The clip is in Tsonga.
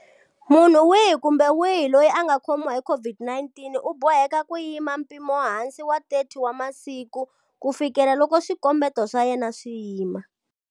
Munhu wihi kumbe wihi loyi a nga khomiwa hi COVID-19 u boheka ku yima mpimohansi wa 30 wa masiku kufikela loko swikombeto swa yena swi yima.